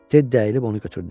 Teddi əyilib onu götürdü.